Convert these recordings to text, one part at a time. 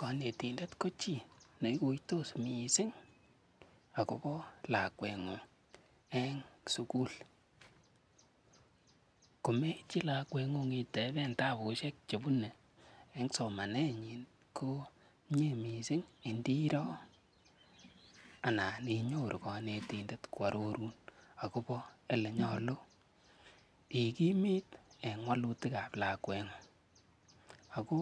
konetindet ko chi neiguitos mising agobo lakwet ngung en sugul, komeityi lakweet ngung itebentabushek chebune en somaneet nyiny komye mising ndiroo anan inyoru konetindet kwororuun agobo elenyolu igimit en wolutik ab lakweet ngung, ago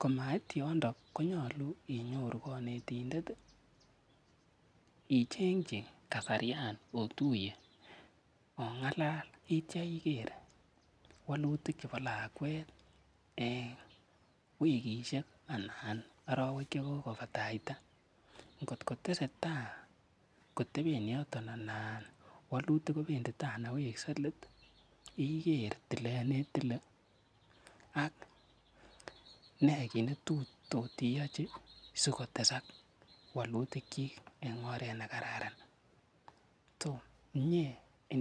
komait yoton konyolu inyoru konetindet ichenkyi kasaryaan otuyee ongalal ityo igeer wolutik chebo lakweet en wigishok anan orowek chegogobataitai, ngot kotesetai koteben yoton anan wolutik kobndi tai anan wekse leet, igeer tileet netile ak nee kiit netotiyochi sigotesak wolutik kyiik en oreet negararan, myee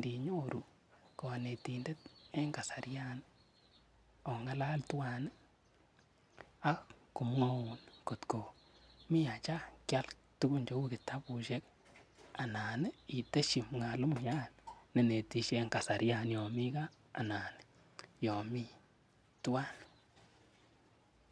ninyoru konetindet en kasaryaan ongalal twaan ak komwouun kot komii acha kyaal tuguk cheuu kitabushek anan iih itesyi mwalimuyaan nenetisye en kasaryaan yon mii gaa anan yoon mii twaan.